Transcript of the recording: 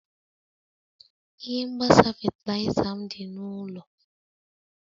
Ihe mgbasa fatịlaịza m dị n'ụlọ.